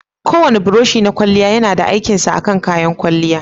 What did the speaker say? Kowane buroshi na kwalya yana da aikin sa a kayan kwalya.